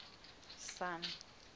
sun